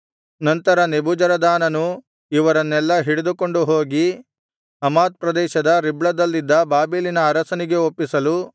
ನಂತರ ನೆಬೂಜರದಾನನು ಇವರನ್ನೆಲ್ಲಾ ಹಿಡಿದುಕೊಂಡು ಹೋಗಿ ಹಮಾತ್ ಪ್ರದೇಶದ ರಿಬ್ಲದಲ್ಲಿದ್ದ ಬಾಬೆಲಿನ ಅರಸನಿಗೆ ಒಪ್ಪಿಸಲು